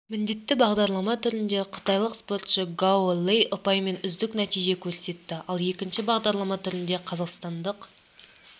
міндетті бағдарлама түрінде қытайлық спортшы гао лэй ұпаймен үздік нәтиже көрсетті ал екінші бағдарлама түрінде қазақстандық